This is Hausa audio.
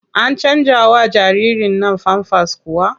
An canjawa jaririrn nan famfas kuwa?